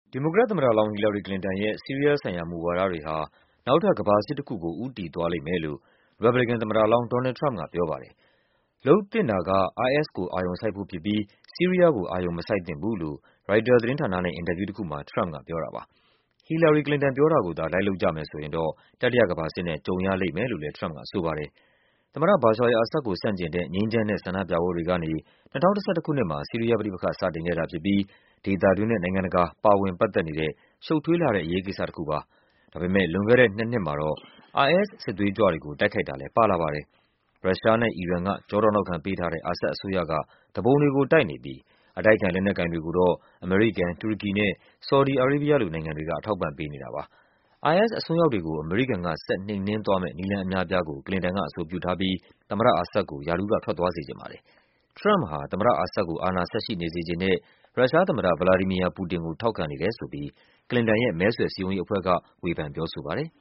ဒီမိုကရက်သမ္မတလောင်း ဟီလာရီ ကလင်တန်ရဲ့ ဆီးရီးယားဆိုင်ရာ မူဝါဒတွေဟာ နောက်ထပ် ကမ္ဘာစစ်တခုကို ဦးတည်သွား လိမ့်မယ်လို့ ရီပတ်ဘလီကန်သမ္မတလောင်း Donald Trump က ပြောပါတယ်။ လုပ်သင့်တာက IS ကို အာရုံစိုက်ဖို့ဖြစ်ပြီး ဆီးရီးယားကို အာရုံမစိုက်သင့်ဘူးလို့ ရိုက်တာသတင်းဌာနနဲ့ အင်တာဗျူးတခုမှာ ထရမ့်ပ်ကပြောပါတယ်။ ဟီလာရီ ကလင်တန်ပြောတာကိုသာ လိုက်လုပ်မယ်ဆိုရင်တော့ တတိယကမ္ဘာစစ်နဲ့ ကြုံရလိမ့်မယ်လို့ လည်း ထရမ့်ပ်က ဆိုပါတယ်။ သမ္မတ ဘာရှာ အယ်လ် အာဆဒ်ကို ဆန့်ကျင်တဲ့ ငြိမ်းချမ်းတဲ့ဆန္ဒပြပွဲတွေကနေ ၂၀၁၁ ခုနှစ်မှာ ဆီးရီးယားပဋိပက္ခ စတင်ခဲ့တာ ဖြစ်ပြီး ဒေသတွင်းနဲ့ နိုင်ငံတကာ ပါဝင်ပတ်သက်နေတဲ့ ရှု့ပ်ထွေးလှတဲ့ အရေးကိစ္စတခုပါ။ ဒါပေမဲ့ လွန်ခဲ့တဲ့နှစ်နှစ်မှာတော့ IS စစ်သွေးကြွတွေကို တိုက်ခိုက်တာလည်း ပါဝင်လာပါတယ်။ ရုရှားနဲ့အီရန်က ကျောထောက်နောက်ခံပေးထားတဲ့ အာဆဒ် အစိုးရက သူပုန်တွေကို တိုက်နေပြီး အတိုက်အခံ လက်နက်ကိုင်တွေကိုတော့ အမေရိကန်၊ တူရကီနဲ့ ဆော်ဒီ အာရေးဘီးယားလို နိုင်ငံတွေ က အထောက်အပံ့ပေးနေတာပါ။ IS အစွန်းရောက်တွေကို အမေရိကန်က ဆက်နှိမ်နင်းသွားမယ့် နည်းလမ်းအများအပြားကို ကလင်တန်က အဆိုပြုထားပြီး သမ္မတအာဆဒ်ကို ရာထူးက ထွက်သွားစေချင်ပါတယ်။ ထရမ့်ပ်ဟာ သမ္မတအာဆဒ်ကို အာဏာဆက်ရှိနေစေချင်တဲ့ ရုရှားသမ္မတ ဗလာဒီမီယာ ပူတင်ကို ထောက်ခံနေတယ်ဆိုပြီး ကလင်တန်ရဲ့ မဲဆွယ်စည်းရုံးရေးအဖွဲ့က ဝေဖန် ပြောဆိုပါတယ်။